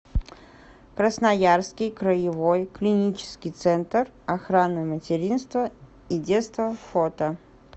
красноярский краевой клинический центр охраны материнства и детства фото